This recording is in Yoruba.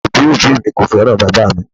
Awọn obi obi mi ko fẹran baba mi.